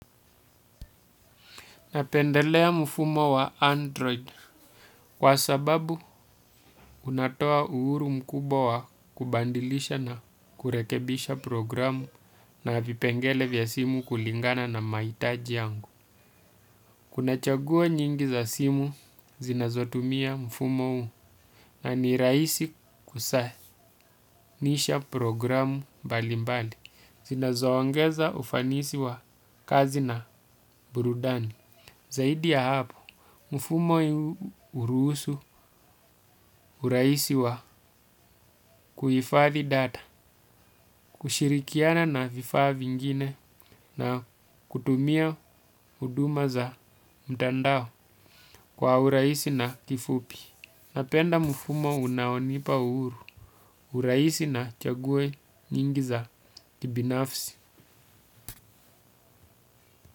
Napendelea mfumo wa Android kwa sababu unatoa uhuru mkubwa wa kubadilisha na kurekebisha programu na vipengele vya simu kulingana na mahitaji yangu. Kuna chaguo nyingi za simu zinazotumia mfumo huu na ni rahisi kusanisha programu mbali mbali. Zinazo ongeza ufanisi wa kazi na burudani. Zaidi ya hapo, mfumo huruhusu urahisi wa kuhifathi data, kushirikiana na vifaa vingine na kutumia huduma za mtandao kwa urahisi na kifupi. Napenda mfumo unaonipa uhuru urahisi na chaguo nyingi za kibinafsi.